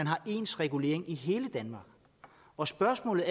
er ens regulering i hele danmark og spørgsmålet